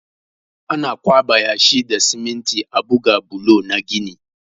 Ana ƙwaɓa yashi da siminti a buga bulo na gini.